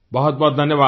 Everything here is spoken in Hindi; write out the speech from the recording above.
बहुतबहुत धन्यवाद